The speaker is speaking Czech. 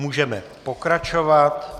Můžeme pokračovat.